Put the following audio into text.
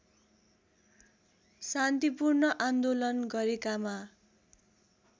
शान्तिपूर्ण आन्दोलन गरेकामा